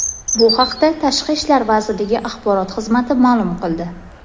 Bu haqda Tashqi ishlar vazirligi axborot xizmati ma’lum qildi .